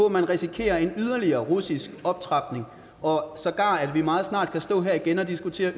at man risikerer en yderligere russisk optrapning og sågar at vi meget snart kan stå her igen og diskutere